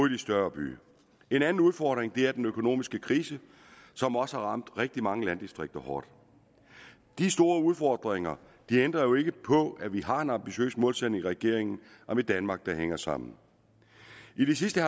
de større byer en anden udfordring er den økonomiske krise som også har ramt rigtig mange landdistrikter hårdt de store udfordringer ændrer jo ikke på at vi har en ambitiøs målsætning i regeringen om et danmark der hænger sammen i det sidste